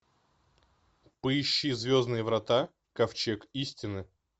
поищи звездные врата ковчег истины